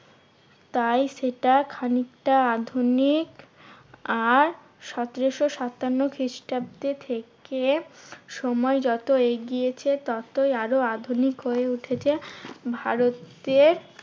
তাই সেটা খানিকটা আধুনিক আর সতেরোশো সাতান্ন খ্রিস্টাব্দে থেকে সময় যত এগিয়েছে ততই আরো আধুনিক হয়ে উঠেছে ভারতের